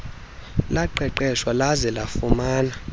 laqeqeshwa laze lafumana